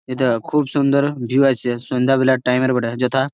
এইটা খুব সুন্দর ভিউ আইছে। সন্ধ্যাবেলার টাইম বটে। যথা--